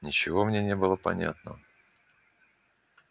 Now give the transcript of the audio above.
ничего мне не было понятно